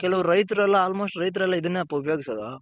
ಕೆಲವ್ ರೈತರೆಲ್ಲ almost ರೈತರೆಲ್ಲ ಇದನ್ನೇ ಅಪ್ಪ ಉಪಯೋಗಿಸೋದು.